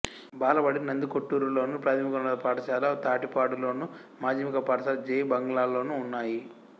బాలబడి నందికొట్కూరులోను ప్రాథమికోన్నత పాఠశాల తాటిపాడు లోను మాధ్యమిక పాఠశాల జె బంగ్లాలోనూ ఉన్నాయి